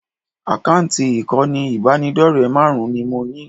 Àkáǹtì ìkànnì ìbánidọ́rẹ̀ẹ́ márùn-ún ni mo ní